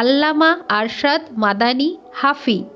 Allama Arshad Madani Hafi